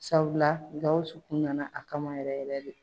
Sabula Gawusu kun nana a kama yɛrɛ yɛrɛ de.